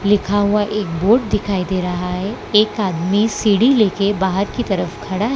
लिखा हुआ एक बोर्ड दिखाई दे रहा है एक आदमी सीढ़ी बाहर की तरफ खड़ा है।